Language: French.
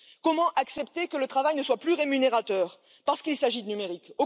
Comment accepter que le travail ne soit plus rémunérateur parce qu'il s'agit de numérique?